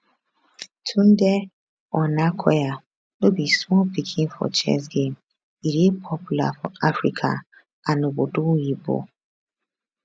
tunde onakoya no be small pikin for chess game e dey popular for africa and obodo oyinbo